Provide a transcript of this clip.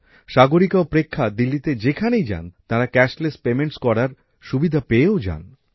সাগরিকা ও প্রেক্ষা দিল্লিতে যেখানেই যান তারা নগদবিহীন পদ্ধতিতে আর্থিক লেনদেন করার সুবিধা পেয়েও যান